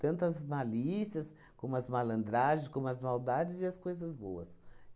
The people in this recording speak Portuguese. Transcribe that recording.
Tanto as malícias, como as malandragens, como as maldades e as coisas boas.